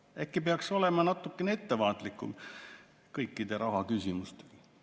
Äkki peaks olema natuke ettevaatlikum kõikide rahaküsimistega?"